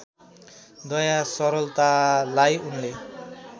दया सरलतालाई उनले